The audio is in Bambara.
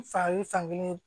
N fa ye fankelen